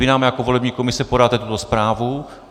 Vy nám jako volební komise podáte tuto zprávu.